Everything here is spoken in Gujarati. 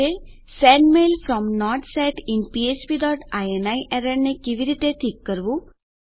આપણે sendmail from not set in ફ્ફ્પ ડોટ ઇની એરરને કેવી રીતે ઠીક કરીશું